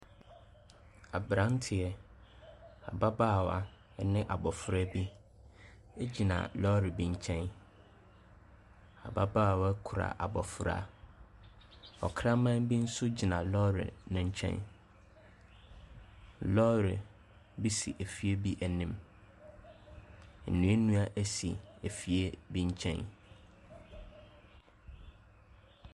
Aberanteɛ, ababaawa ne abɔfra bi gyina lɔre bi nkyɛn. Ababaawa kura abɔfra. Ɔkraman bi nso gyina lɔre no nkyɛn. Lɔre bi si efie bi anim. Nnuannua si fie bi nkyɛn.